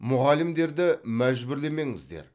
мұғалімдерді мәжбүрлемеңіздер